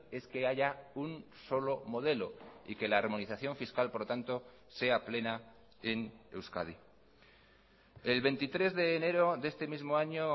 es que haya un solo modelo y que la armonización fiscal por lo tanto sea plena en euskadi el veintitrés de enero de este mismo año